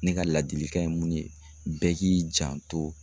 Ne ka ladilikan ye mun ye bɛɛ k'i janto